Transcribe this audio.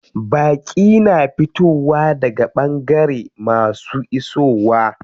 Baƙi na ta fitowa daga ɓangare masu isowa.